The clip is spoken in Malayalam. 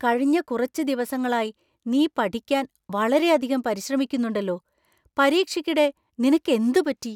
കഴിഞ്ഞ കുറച്ച് ദിവസങ്ങളായി നീ പഠിക്കാൻ വളരെയധികം പരിശ്രമിക്കുന്നുണ്ടല്ലോ . പരീക്ഷയ്ക്കിടെ നിനക്ക് എന്ത് പറ്റി ?